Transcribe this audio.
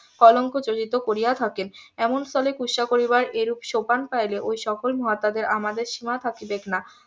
কলঙ্ক যচিত করিয়া থাকেন এমন স্থলে কুৎসা করিবার এরূপ সোপান পাইলে ওই সকল মহাত্মা দের আমাদের সীমা থাকিবেক না